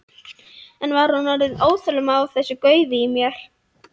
Eða var hún orðin óþolinmóð á þessu gaufi í mér?